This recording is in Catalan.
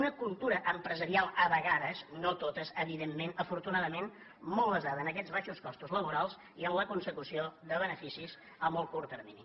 una cultura empresarial a vegades no totes evidentment afor tunadament molt basada en aquests baixos costos laborals i en la consecució de beneficis a molt curt termini